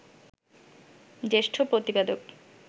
জ্যেষ্ঠ প্রতিবেদক